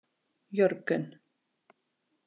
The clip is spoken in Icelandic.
Jörgen